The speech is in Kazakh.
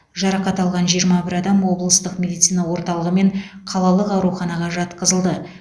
жарақат алған жиырма бір адам облыстық медицина орталығы мен қалалық ауруханаға жатқызылды